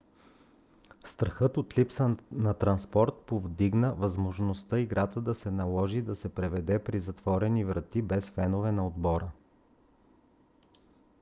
страхът от липса на транспорт повдигна възможността играта да се наложи да се проведе при затворени врати без феновете на отбора